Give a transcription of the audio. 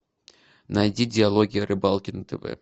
найди диалоги о рыбалке на тв